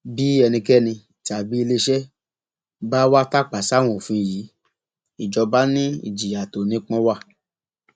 bí ẹnikẹni tàbí iléeṣẹ bá wàá tàpá sáwọn òfin yìí ìjọba ni ìjìyà tó nípọn wa